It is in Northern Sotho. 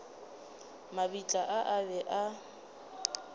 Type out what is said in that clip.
mabitla a a be a